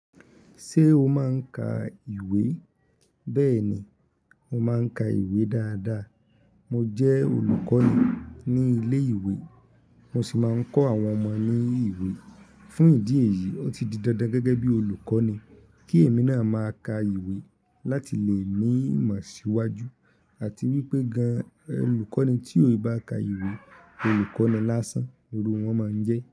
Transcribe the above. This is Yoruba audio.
Ṣé o máa ń ka ìwé? Bẹ́ẹ̀ni, mo máa ń ka ìwé dáadáa. Mo jẹ́ olùkọ́ni ní ilé ìwé, mo sì máa ń kọ́ àwọn ọmọ ní ìwé. Fún ìdí èyí, ó ti di dandan gẹ́gẹ́ bí olùkọ́ni kí èmi náà máa ka ìwé láti lè ní ìmọ̀ síwájú àti wípé gan-an olùkọ́ni tí kò bá ka ìwé, olùkọ́ni lásán irú wọn máa ń jẹ́